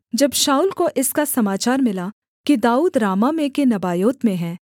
जब शाऊल को इसका समाचार मिला कि दाऊद रामाह में के नबायोत में है